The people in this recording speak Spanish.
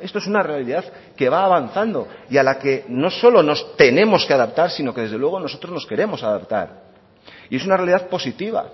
esto es una realidad que va avanzando y a la que no solo nos tenemos que adaptar sino que desde luego nosotros nos queremos adaptar y es una realidad positiva